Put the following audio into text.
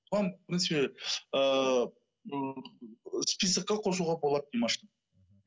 оған в принципе ыыы списокқа қосуға болады димашты